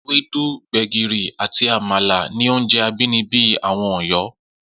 Ewédú, gbè̩gìrì àti àmàlà ni oúnje̩ abínibí àwo̩n Ò̩yó̩